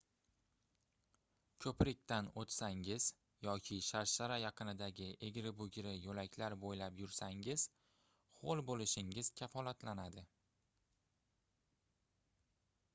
koʻprikdan oʻtsangiz yoki sharshara yaqinidagi egri-bugri yoʻlaklar boʻylab yursangiz hoʻl boʻlishingiz kafolatlanadi